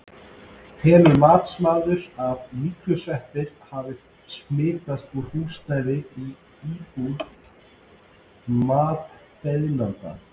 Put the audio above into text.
Telur matsmaður að myglusveppir hafi smitast úr húsnæðinu í innbú matsbeiðanda?